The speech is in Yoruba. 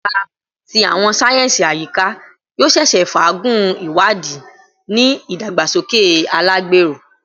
Ẹka ti Awọn sáyẹnsì Ayika yoo ṣeese faagun iwadii ni idagbasoke alagbero